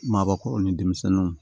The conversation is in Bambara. Maabakɔrɔ ni denmisɛnninw